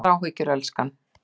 Engar áhyggjur, elskan.